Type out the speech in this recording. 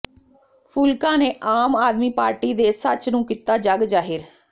ਫੂਲਕਾ ਨੇ ਆਮ ਆਦਮੀ ਪਾਰਟੀ ਦੇ ਸੱਚ ਨੂੰ ਕੀਤਾ ਜੱਗ ਜਾਹਿਰ